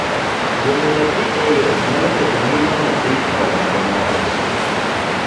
Riembo nyathi ei ot nyalo keto ngima nyathi e obadho marach.